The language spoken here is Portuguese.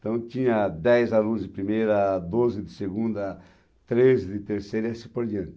Então tinha dez alunos de primeira, doze de segunda, treze de terceira e assim por diante.